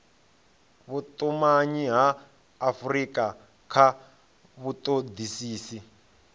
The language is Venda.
vhutumanyi ha afurika kha vhutodisisi